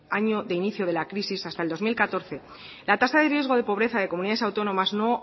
año de inicio de la crisis hasta el dos mil catorce la tasa de riesgo de pobreza de comunidades autónomas no